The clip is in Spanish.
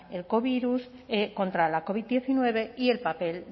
el co virus contra la covid diecinueve y el papel